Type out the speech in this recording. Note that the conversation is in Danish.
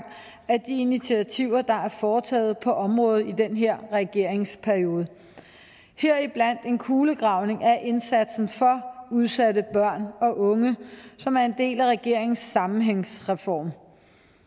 af de initiativer der er foretaget på området i den her regeringsperiode heriblandt en kulegravning af indsatsen for udsatte børn og unge som er en del af regeringens sammenhængsreform